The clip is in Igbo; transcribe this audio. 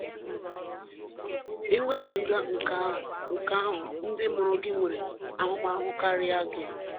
E wezụga nke ahụ, nke ahụ, ndị mụrụ gị nwere ahụmahụ karịa gị.